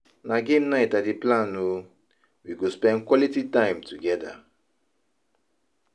Na game night I dey plan o, we go spend quality time together.